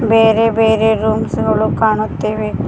ಬೇರೆ ಬೇರೆ ರೂಮ್ಸ್ ಗಳು ಕಾಣುತ್ತಿವೆ.